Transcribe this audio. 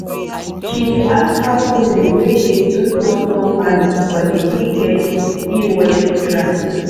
she dey ask how women wey dey do small small farming for take get e-wallet grant.